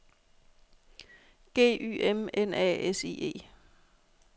G Y M N A S I E -